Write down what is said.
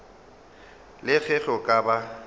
le ge go ka ba